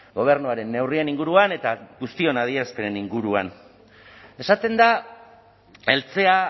gobernuaren neurrien inguruan eta guztion adierazpenen inguruan esaten da eltzea